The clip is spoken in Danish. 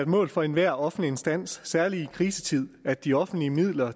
mål for enhver offentlig instans særlig i krisetider at de offentlige midler